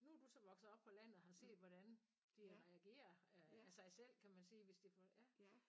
Nu du så vokset op på landet og har set hvordan de reagerer af sig selv kan man sige hvis de får ja